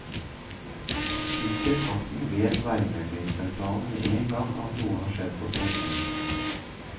Synker farten, vet veimeldingssentralen med en gang at noen har skjedd på en strekning.